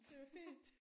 Det var fint